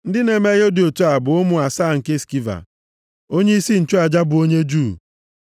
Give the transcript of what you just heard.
Ndị na-eme ihe dị otu a bụ ụmụ asaa nke Skiva, onyeisi nchụaja, bụ onye Juu.